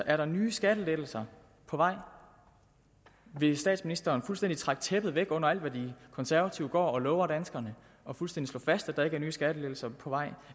er der nye skattelettelser på vej vil statsministeren fuldstændig trække tæppet væk under alt hvad de konservative går og lover danskerne og fuldstændig slå fast at der ikke er nye skattelettelser på vej